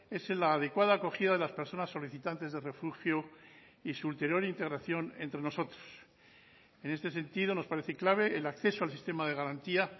es la adecuada acogida de las personas solicitantes de refugio y su ulterior integración entre nosotros en este sentido nos parece clave el acceso al sistema de garantía